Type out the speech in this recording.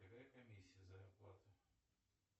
какая комиссия за оплату